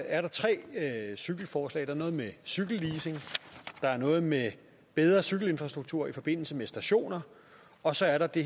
er der tre cykelforslag der er noget med cykelleasing der er noget med bedre cykelinfrastruktur i forbindelse med stationer og så er der det